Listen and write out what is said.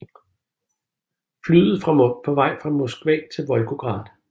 Flyet fra på vej fra Moskva til Volgograd